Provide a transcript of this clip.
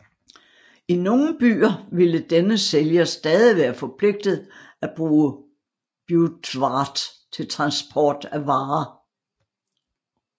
I nogle byer ville denne sælger stadig være forpligtet at bruge beurtvaart til transport af varer